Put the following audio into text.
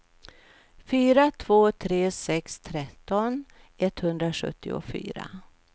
fyra två tre sex tretton etthundrasjuttiofyra